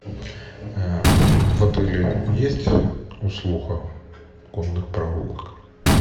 в отеле есть услуга конных прогулок